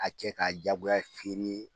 A cɛ ka jagoya feere.